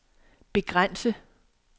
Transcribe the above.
begrænse